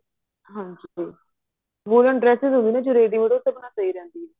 ਹਾਂਜੀ woolen dresses ਹੁੰਦੀ ਹੈ ਜੋ ready ਉਹਦੇ ਉੱਤੇ ਆਪਣਾ ਪੈ ਜਾਂਦੀ ਐ